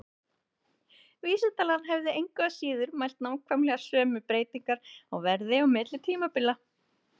Vísitalan hefði engu að síður mælt nákvæmlega sömu breytingar á verði á milli tímabila.